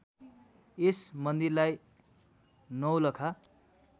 यस मन्दिरलाई नौलखा